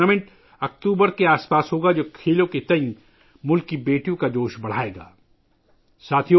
یہ tournament October کے آس پاس منعقد ہوگا ، جس سے ملک کی بیٹیوں کا کھیلوں کے تئیں جوش و جذبہ بڑھے گا